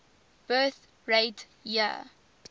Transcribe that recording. birth rate year